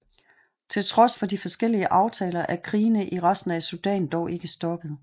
Til trods for de forskellige aftaler er krigene i resten af Sudan dog ikke stoppet